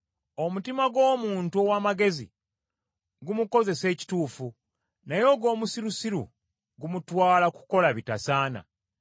Omutima gw’omuntu ow’amagezi gumukozesa ekituufu, naye ogw’omusirusiru gumutwala kukola bitasaana.